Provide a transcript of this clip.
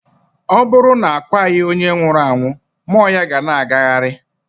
Ọ bụrụ na a kwaghị onye nwụrụ anwụ, mmụọ ya ga ana agagharị.